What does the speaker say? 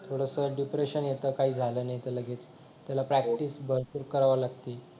थोडसा डिप्रेशन येतं काही झालं नाही तर लगेच त्याला प्रॅक्टिस भरपूर करावी लागते